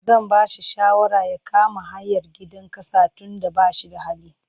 Zan ba shi shawara ya kama hayar gidan ƙasa tunda ba shi da hali.